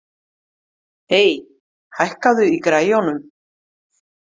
Ey, hækkaðu í græjunum.